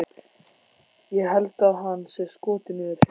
Ég held að hann sé skotinn í þér